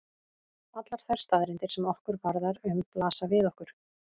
Allar þær staðreyndir sem okkur varðar um blasa við okkur.